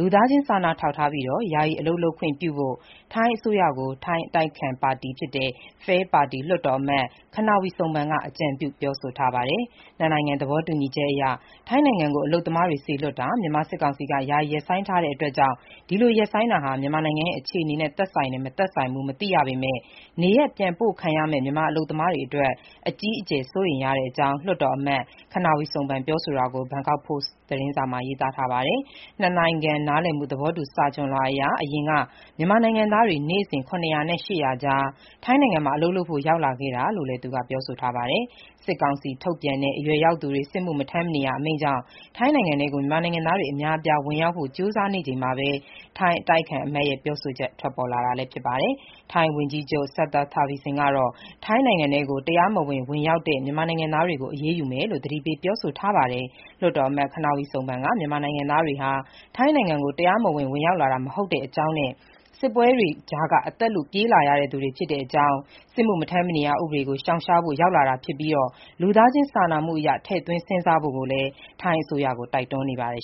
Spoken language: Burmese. လူသားချင်းစာနာထောက်ထားပြီး ယာယီ အလုပ်လုပ်ခွင့် ခွင့်ပြုဖို့ ထိုင်း အစိုးရကို ထိုင်း အတိုက်အခံ FAIR ပါတီ လွှတ်တော်အမတ် Kannavee Suebsang က အကြံပြုပြောဆိုပါတယ်။ နှစ်နိုင်ငံသဘောတူညီချက်အရ ထိုင်းနိုင်ငံကို အလုပ်သမားတွေစေလွှတ်တာ မြန်မာစစ်ကောင်စီက ယာယီ ရပ်ဆိုင်းထားတဲ့ကြောင်းနဲ့ ဒီလို ရပ်ဆိုင်းတာဟာ မြန်မာနိုင်ငံရဲ့ အခြေအနေနဲ့ သက်ဆိုင်တယ်၊ မသက်ဆိုင်ဘူး မသိရပေမဲ့ နေရပ်ပြန်ပို့ခံရမယ့် မြန်မာအလုပ်သမားတွေအတွက် အကြီးအကျယ် စိုးရိမ်ရတဲ့အကြောင်း လွှတ်တော်အမတ် Kannavee Suebsang ပြောဆိုတာကို Bangkok Post သတင်းစာမှာ ရေးသားထားပါတယ်။ နှစ်နိုင်ငံ နားလည်မှု သဘောတူ စာချွှန်လွှာအရ အရင်က မြန်မာနိုင်ငံသား နေ့စဉ် ၇၀၀ နဲ့ ၈၀၀ ကြား ထိုင်းနိုင်ငံမှာ အလုပ်လုပ်ဖို့ ရောက်လာခဲ့တာကိုလည်း သူက ပြောဆိုပါတယ်။ စစ်ကောင်စီ ထုတ်ပြန်တဲ့ အရွယ်ရောက်သူတွေ စစ်မှုမထမ်းမနေရ အမိန့်ကြောင့် ထိုင်းနိုင်ငံထဲကို မြန်မာနိုင်ငံသားတွေ အများအပြား ဝင်ရောက်ဖို့ ကြိုးစားနေချိန်မှာ ထိုင်း အတိုက်အခံအမတ်ရဲ့ ပြောဆိုချက် ထွက်ပေါ်လာတာပါ။ ထိုင်းဝန်ကြီးချုပ် Srettha Thavisin ကတော့ ထိုင်းနိုင်ငံထဲကို တရားမဝင် ဝင်ရောက်တဲ့ မြန်မာနိုင်ငံသားတွေကို အရေးယူမယ်လို့ သတိပေး ပြောဆိုထားပါတယ်။ လွှတ်တော်အမတ် Kannavee Suebsang က မြန်မာနိုင်ငံသားတွေဟာ ထိုင်းနိုင်ငံကို တရားမဝင် ဝင်ရောက်လာတာ မဟုတ်တဲ့အကြောင်းနဲ့ စစ်ပွဲတွေကြား အသက်လုပြေးလာသူတွေ ဖြစ်တဲ့အကြောင်း၊ စစ်မှုမထမ်းမနေရ ဥပဒေကို ရှောင်ရှားဖို့ ရောက်လာတာဖြစ်ပြီး လူသားချင်း စာနာမှုအရ ထည့်သွင်းစဉ်းစားဖို့ ထိုင်းအစိုးရကို တိုက်တွန်းနေပါတယ်